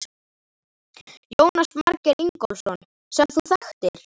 Jónas Margeir Ingólfsson: Sem þú þekktir?